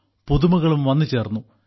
പുതുമകളും വന്നുചേർന്നു